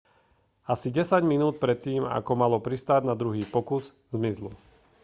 asi desať minút predtým ako malo pristáť na druhý pokus zmizlo